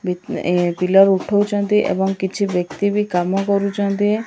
ଏବଂ କିଛି ବ୍ୟକ୍ତି ବି କାମ କରୁଛନ୍ତି।